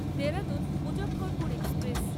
Dehradun Muzaffarpur express